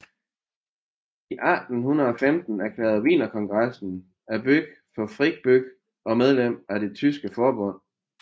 I 1815 erklærede Wienerkongressen byen for fri by og medlem af Det tyske forbund